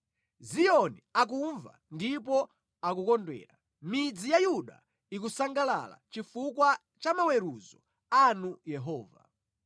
Ziyoni akumva ndipo akukondwera, midzi ya Yuda ikusangalala chifukwa cha maweruzo anu Yehova.